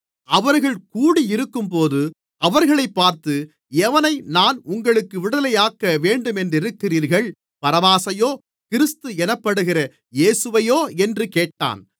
அவர்கள் கூடியிருக்கும்போது அவர்களைப் பார்த்து எவனை நான் உங்களுக்கு விடுதலையாக்க வேண்டுமென்றிருக்கிறீர்கள் பரபாசையோ கிறிஸ்து எனப்படுகிற இயேசுவையோ என்று கேட்டான்